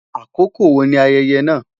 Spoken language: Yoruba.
Akoko wo ni ayẹyẹ naa?